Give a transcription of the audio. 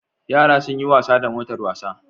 Yara sunyi wasa da motar wasa